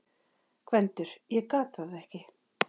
GVENDUR: Ég gat það ekki!